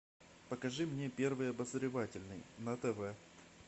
покажи мне первый обозревательный на тв